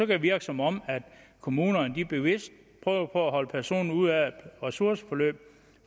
det virke som om kommunerne bevidst prøver at holde personen ude af ressourceforløb